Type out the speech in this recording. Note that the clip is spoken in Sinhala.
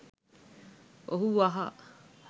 ඔහු වහා